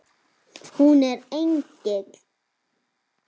Hún er engill.